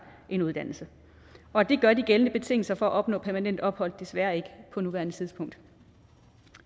en uddannelse og det gør de gældende betingelser for at opnå permanent ophold desværre ikke på nuværende tidspunkt